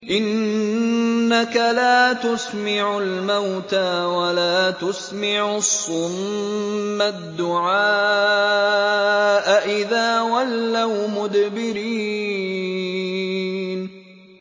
إِنَّكَ لَا تُسْمِعُ الْمَوْتَىٰ وَلَا تُسْمِعُ الصُّمَّ الدُّعَاءَ إِذَا وَلَّوْا مُدْبِرِينَ